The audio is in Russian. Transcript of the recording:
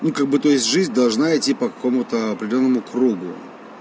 ну как бы то есть жизнь должна идти по какому-то определённому кругу